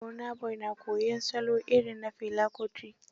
Burna Boy na koyon salo irin na Fela Kuti